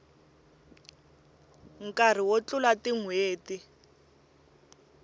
nkarhi wo tlula tin hweti